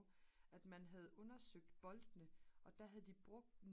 at man havde undersøgt boltene og der havde de brugt